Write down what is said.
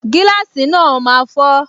Gíláàsì náà máa fọ